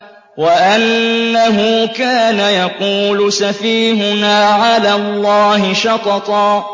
وَأَنَّهُ كَانَ يَقُولُ سَفِيهُنَا عَلَى اللَّهِ شَطَطًا